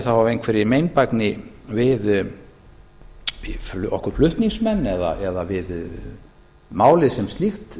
þá af einhverri meinbægni við okkur flutningsmenn eða við málið sem slíkt